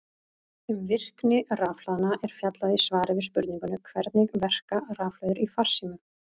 Um virkni rafhlaðna er fjallað í svari við spurningunni Hvernig verka rafhlöður í farsímum?